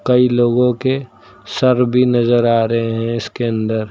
कई लोगों के सर भी नजर आ रहे हैं इसके अंदर।